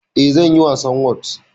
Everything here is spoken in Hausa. Eh, zanyi wasan whot